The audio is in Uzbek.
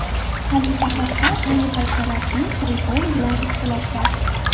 Xalifa Haftar ayni paytda rasmiy Tripoli bilan ixtilofda.